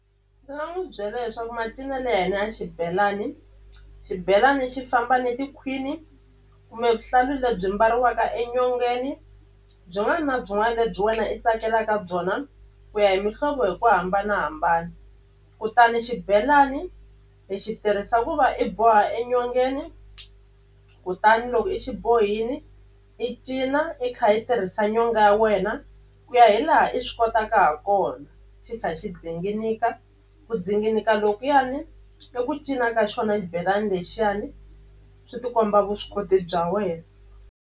Ndzi nga n'wi byela leswaku macinelo ya hina ya xibelani xibelani xi famba ni tikhwini kumbe vuhlalu lebyi mbariwaka enyongeni byin'wana na byin'wana lebyi wena i tsakelaka byona ku ya hi mihlovo hi ku hambanahambana kutani xibelani hi xi tirhisa ku va i boha enyongeni kutani loko i xi bohini i cina i kha i tirhisa nyonga ya wena ku ya hi hi laha i swi kotaka ha kona xi kha xi dzinganika ku dzinganika lokuyani i ku cina ka xona xibelani lexiyani swi tikomba vuswikoti bya wena.